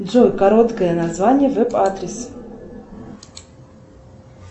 джой короткое название веб адрес